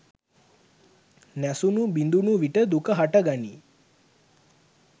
නැසුණු බිඳුණු විට දුක හට ගනී.